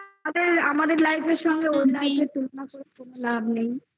আমাদের life র সঙ্গে তুলনা করে কোনো লাভ নেই।